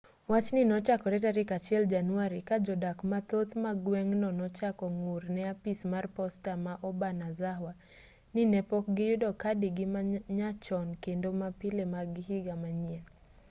wachni nochakore tarik 1 january ka jodak mathoth ma gweng'no nochako ng'ur ne apis mar posta ma obanazawa ni ne pok giyudo kadigi ma nyachon kendo ma pile mag higa manyien